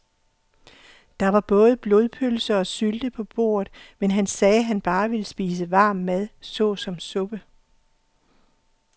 Der var både blodpølse og sylte på bordet, men han sagde, at han bare ville spise varm mad såsom suppe.